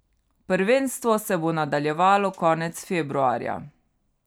Prvenstvo se bo nadaljevalo konec februarja.